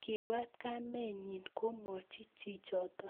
kiibwat kamenyi komwoch chichoto